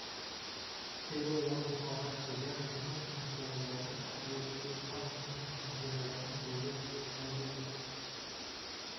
келі орын талғат шегенов мың сом келі орын әділет сейілханов мың сом келі орын дулет пахриденов